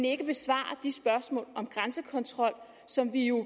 ikke besvarer de spørgsmål om grænsekontrol som vi jo